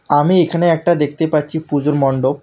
আমি এখানে একটা দেখতে পাচ্ছি পুজোর মণ্ডপ।